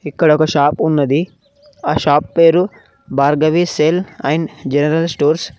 ఇక్కడ ఒక షాప్ ఉన్నది ఆ షాప్ పేరు Bhargavi cell and general stores .